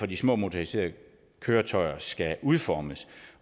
de små motoriserede køretøjer skal udformes